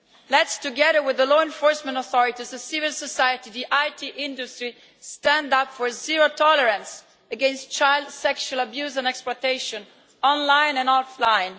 Let us, together with the law enforcement authorities, civil society and the IT industry, stand up for zero tolerance against child sexual abuse and exploitation, online and offline.